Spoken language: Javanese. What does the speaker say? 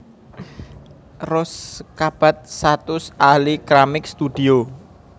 Rose Cabat satus ahli keramik studio